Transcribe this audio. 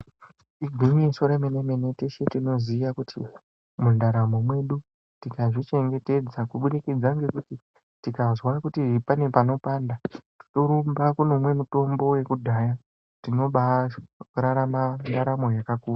Igwinyiso remene mene tese tinoziya kuti mundaramo mwedu tikazvivhengetedza kubudikidza ngekuti tikazwa kuti pane panopanda torumba kundomwe mitombo yekudhaya tinobaararama ndaramo yakakura.